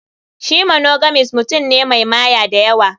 Shi monogamist mutum ne Mai Maya dayawa.